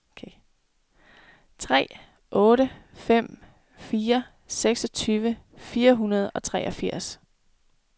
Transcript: tre otte fem fire seksogtyve fire hundrede og treogfirs